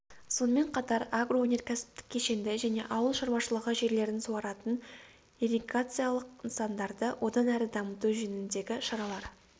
сонымен қатар агроөнеркәсіптік кешенді және ауыл шаруашылығы жерлерін суаратын ирригациялық нысандарды одан әрі дамыту жөніндегі шаралар